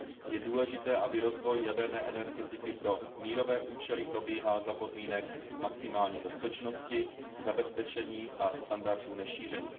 Je důležité, aby rozvoj jaderné energetiky pro mírové účely probíhal za podmínek maximální bezpečnosti, zabezpečení a standardů nešíření.